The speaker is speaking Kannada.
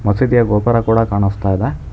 ಮಸುದಿಯ ಗೋಪುರ ಕೂಡ ಕಾಣಸ್ತಾ ಇದೆ.